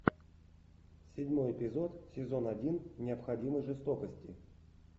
седьмой эпизод сезон один необходимой жестокости